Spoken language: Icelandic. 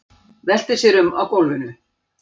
Veltir sér um á gólfinu.